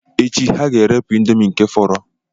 Echi, ha ga-erepu ịndomii nke fọrọ.